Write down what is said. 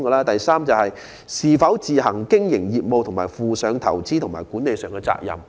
第三，是否須自行經營業務和負上投資及管理上的責任。